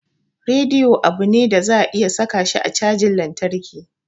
Radiyo abu ne da za a iya saka shi a cajan lantarki.